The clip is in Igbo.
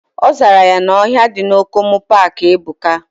Ozara ya na ohia di na Okomu park ebuka.